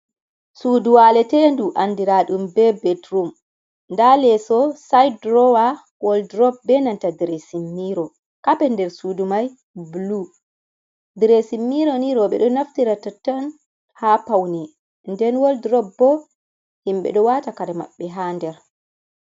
Suudu walete du andira ɗum be betroum, nda leso, si'id durowa, wad durob be nanta diresin miro, kapet der sudu mai bulu. Diresin miro nye rewpe ɗo naftira totton ha pauni, nden woldurob bo himɓe ɗo wata kare maɓɓe ha nder.